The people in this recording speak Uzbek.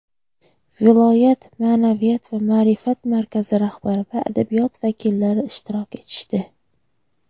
viloyat ma’naviyat va ma’rifat markazi rahbari va adabiyot vakillari ishtirok etishdi.